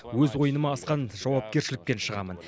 өз ойыныма асқан жауапкершілікпен шығамын